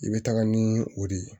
I bɛ taga ni o de ye